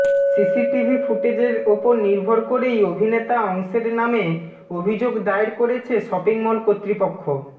CCTV ফুটেজের ওপর নির্ভর করেই অভিনেতা অংশের নামে অভিযোগ দায়ের করেছে শপিং মল কর্তৃপক্ষ